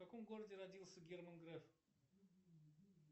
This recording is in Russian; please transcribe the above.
в каком городе родился герман греф